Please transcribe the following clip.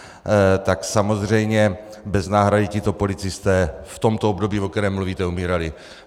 Tak samozřejmě bez náhrady tito policisté v tomto období, o kterém mluvíte, umírali.